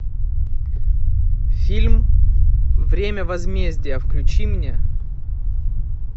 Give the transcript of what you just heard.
фильм время возмездия включи мне